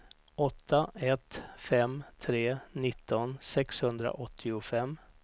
åtta ett fem tre nitton sexhundraåttiofem